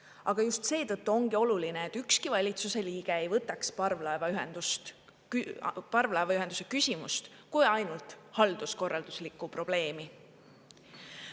Aga just seetõttu ongi oluline, et ükski valitsuse liige ei võtaks parvlaevaühenduse küsimust kui ainult halduskorralduslikku probleemi.